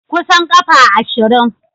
Kusan kafa ashirin.